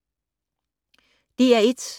DR1